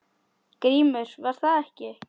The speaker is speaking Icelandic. GRÍMUR: Var það ekki!